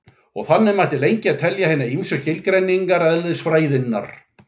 Og þannig mætti lengi telja hinar ýmsu skilgreiningar eðlisfræðinnar.